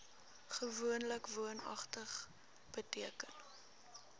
gewoonlik woonagtig beteken